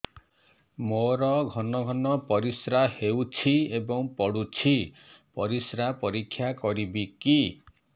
ମୋର ଘନ ଘନ ପରିସ୍ରା ହେଉଛି ଏବଂ ପଡ଼ୁଛି ପରିସ୍ରା ପରୀକ୍ଷା କରିବିକି